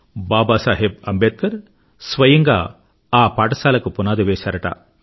బాబా సాహెబ్ అంబేద్కర్ స్వయంగా ఆ పాఠశాలకు పునాది వేశారుట